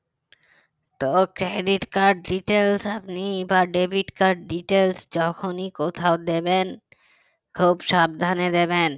তো credit card details আপনি বা debit card details যখনই কোথাও দেবেন খুব সাবধানে দেবেন